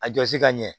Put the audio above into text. A jɔsi ka ɲɛ